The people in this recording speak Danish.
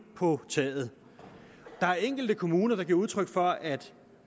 på taget der er enkelte kommuner der giver udtryk for at